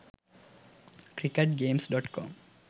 cricket games.com